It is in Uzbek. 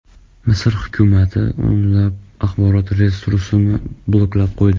Misr hukumati o‘nlab axborot resursini bloklab qo‘ydi.